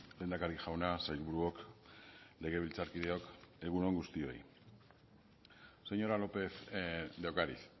lehendakari jauna sailburuok legebiltzarkideok egun on guztioi señora lópez de ocariz